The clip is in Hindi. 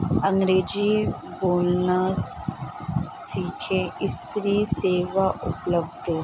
अंग्रेजी बोलना सस सीखे स्त्री सेवा उपलब्ध है।